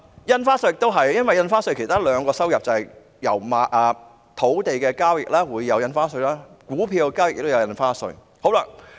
印花稅亦是一樣，因為印花稅收入有兩個來源，土地交易會產生印花稅，股票交易也會產生印花稅。